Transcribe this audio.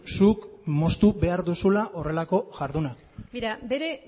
zuk moztu behar duzula horrelako jarduna bere